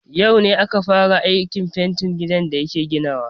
Yau ne aka fara aikin fentin gidan da yake ginawa.